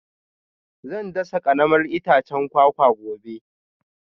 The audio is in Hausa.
Zan dasa karamar itacen kwakwa gobe